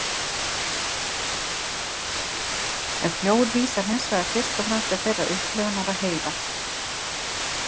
Ef „hljóð“ vísar hins vegar fyrst og fremst til þeirrar upplifunar að heyra.